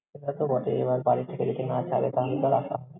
সেটা তো বটেই, এবার বাড়ি থেকে যদি না ছাড়ে তাহলে তো আর আসা।